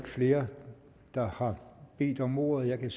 flere der har bedt om ordet jeg vil